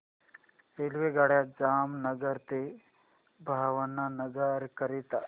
रेल्वेगाड्या जामनगर ते भावनगर करीता